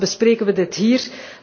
Waarom bespreken wij dit hier?